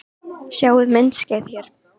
Sjá myndskeið hér